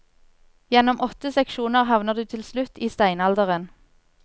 Gjennom åtte seksjoner havner du til slutt i steinalderen.